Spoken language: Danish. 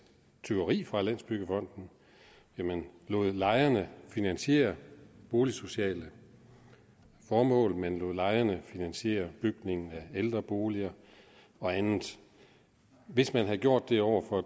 tyveri fra landsbyggefonden man lod lejerne finansiere boligsociale formål man lod lejerne finansiere bygningen af ældreboliger og andet hvis man havde gjort det over for